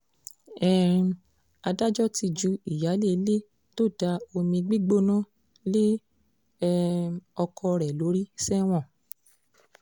um adájọ́ ti ju ìyáálé ilé tó da omi gbígbóná lé um ọkọ rẹ̀ lórí sẹ́wọ̀n